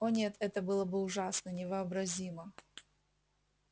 о нет это было бы ужасно невообразимо